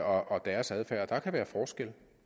og deres adfærd og der kan være forskel